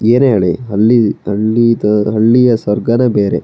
ಏನೆ ಹೇಳಿ ಅಲ್ಲಿ ಹಳ್ಳಿ ಸ್ವರ್ಗಾನೆ ಬೇರೆ-